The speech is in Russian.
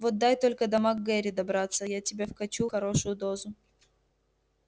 вот дай только до мак гэрри добраться я тебе вкачу хорошую дозу